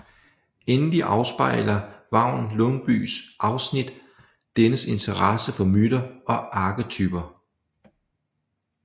Endelig afspejler Vagn Lundbyes afsnit dennes interesse for myter og arketyper